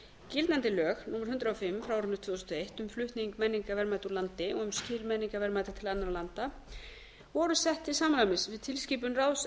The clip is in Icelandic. gildandi lög númer hundrað og fimm tvö þúsund og eitt um flutning menningarverðmæta úr landi og um skil menningarverðmæta til annarra landa voru sett til samræmis við tilskipun ráðs